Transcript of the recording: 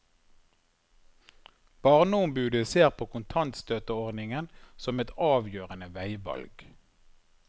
Barneombudet ser på kontantstøtteordningen som et avgjørende veivalg.